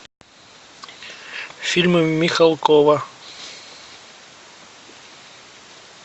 фильмы михалкова